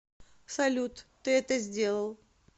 салют ты это сделал